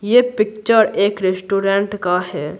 यह पिक्चर एक रेस्टोरेंट का है।